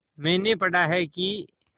मैंने पढ़ा है कि